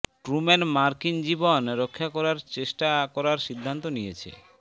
Truman মার্কিন জীবন রক্ষা করার চেষ্টা করার সিদ্ধান্ত নিয়েছে